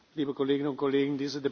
Liebe Kolleginnen und Kollegen!